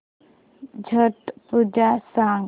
छट पूजा सांग